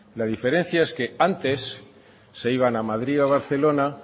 la diferencia es que antes se iban a madrid o a barcelona